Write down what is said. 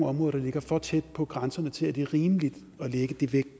områder der ligger for tæt på grænserne til at det er rimeligt at lægge